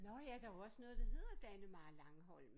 Når ja der er jo også noget der hedder Dannemare Langholm